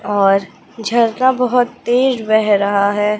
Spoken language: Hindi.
और झरना बहुत तेज बह रहा हैं।